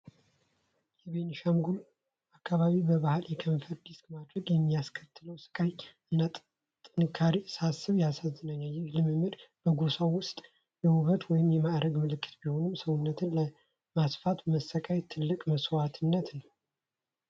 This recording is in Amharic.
የቤኒሻንጉል አካባቢ በባህል የከንፈር ዲስክ ማድረግ የሚያስከትለውን ሥቃይ እና ጥንካሬ ሳስብ ያሳዝነኛል። ይህ ልምምድ በጎሳው ውስጥ የውበት ወይም የማዕረግ ምልክት ቢሆንም፣ ሰውነትን ለማስፋት መሰቃየት ትልቅ መሥዋዕትነት ነው።